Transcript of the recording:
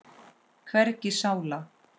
Hvergi sála.